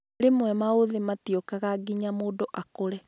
Rimwe maũthĩ matiũkaga nginya mũndũ akũre